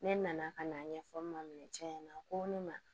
Ne nana ka n'a ɲɛfɔ n ma minɛ cɛ ɲɛna ko ne ma